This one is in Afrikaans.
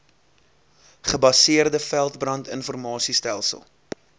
gebaseerde veldbrand informasiestelsel